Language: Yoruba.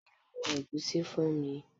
Ṣadé lo wọn ẹ̀gúsí fún mi.